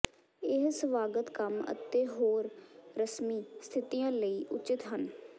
ਇਹ ਸਵਾਗਤ ਕੰਮ ਅਤੇ ਹੋਰ ਰਸਮੀ ਸਥਿਤੀਆਂ ਲਈ ਉਚਿਤ ਹਨ